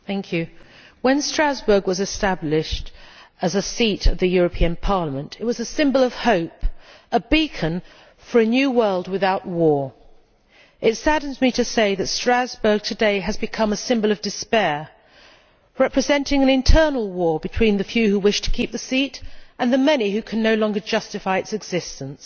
Mr President, when Strasbourg was established as a seat of the European Parliament, it was a symbol of hope a beacon for a new world without war. It saddens me to say that Strasbourg today has become a symbol of despair, representing an internal war between the few who wish to keep the seat and the many who can no longer justify its existence.